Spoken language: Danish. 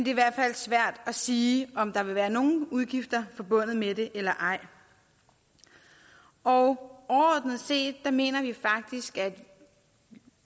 i hvert fald svært at sige om der vil være nogle udgifter forbundet med det eller ej overordnet set mener vi faktisk at